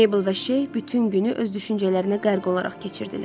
Meybl və Şeyx bütün günü öz düşüncələrinə qərq olaraq keçirdilər.